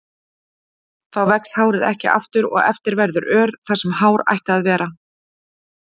Þá vex hárið ekki aftur og eftir verður ör þar sem hár ætti að vera.